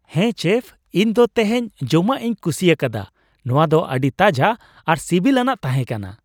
ᱦᱮᱸ, ᱪᱮᱯᱷ, ᱤᱧ ᱫᱚ ᱛᱮᱦᱮᱧ ᱡᱚᱢᱟᱜ ᱤᱧ ᱠᱩᱥᱤᱭᱟᱠᱟᱫᱟ ᱾ ᱱᱚᱶᱟ ᱫᱚ ᱟᱹᱰᱤ ᱛᱟᱡᱟ ᱟᱨ ᱥᱤᱵᱤᱞ ᱟᱱᱟᱜ ᱛᱟᱦᱮᱸ ᱠᱟᱱᱟ ᱾